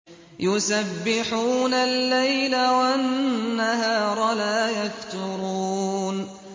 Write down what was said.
يُسَبِّحُونَ اللَّيْلَ وَالنَّهَارَ لَا يَفْتُرُونَ